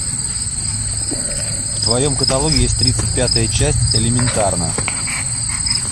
в твоем каталоге есть тридцать пятая часть элементарно